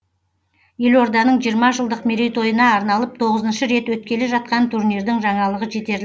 елорданың жиырма жылдық мерейтойына арналып тоғызыншы рет өткелі жатқан турнирдің жаңалығы жетерлік